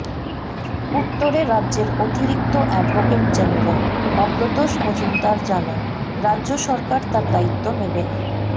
উত্তরে রাজ্যের অতিরিক্ত অ্যাডভোকেট জেনারেল অভ্রতোষ মজুমদার জানান রাজ্য সরকার তার দায়িত্ব নেবে না